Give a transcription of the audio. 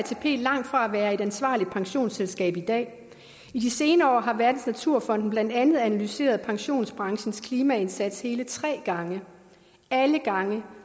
langt fra at være et ansvarligt pensionsselskab i dag i de senere år har verdensnaturfonden blandt andet analyseret pensionsbranchens klimaindsats hele tre gange alle gange